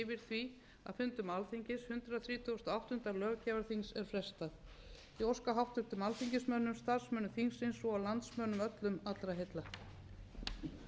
því að fundum alþingis hundrað þrítugasta og áttunda löggjafarþings er frestað ég óska háttvirtum alþingismönnum og starfsmönnum þingsins svo og landsmönnum öllum allra heilla